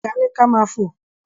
Ọ̀gá ni ka ma fò.